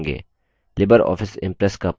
Libre office impress का परिचय